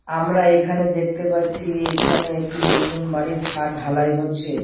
আমরা এই খানে দেখতে পারছি এই খানে একটি নতুন বাড়ির ছাদ ঢালাই হচ্ছে।